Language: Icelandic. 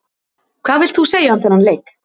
Hvað vilt þú segja um þennan leik?